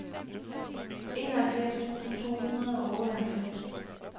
enoghalvfjerds tusind to hundrede og otteoghalvfems